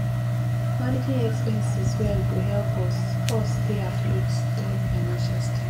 managing expenses well go help us us stay afloat during financial strain